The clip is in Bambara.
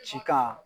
Cikan